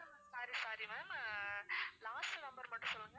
sorry sorry ma'am uh last number மட்டும் சொல்லுங்க